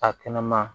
A kɛnɛ ma